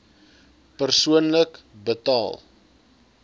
persoonlik betaal